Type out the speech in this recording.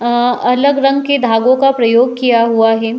आ अलग रंग के धागो का प्रयोग किया हुआ है।